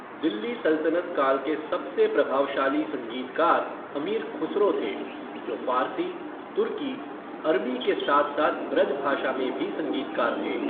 दिल्ली सल्तनत काल के सबसे प्रभावशाली संगीतकार अमीर खुसरो थे, जो फ़ारसी, तुर्की, अरबी के साथ साथ ब्रज भाषा में भी संगीतकार थे।